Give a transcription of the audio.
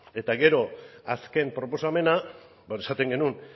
eta gero azken proposamena hor esaten genuen